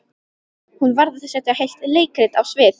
Hún varð að setja heilt leikrit á svið.